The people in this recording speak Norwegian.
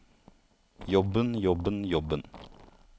jobben jobben jobben